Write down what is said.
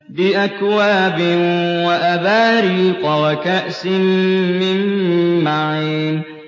بِأَكْوَابٍ وَأَبَارِيقَ وَكَأْسٍ مِّن مَّعِينٍ